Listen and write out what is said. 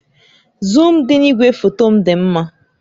Zuum dị na igwefoto m dị mma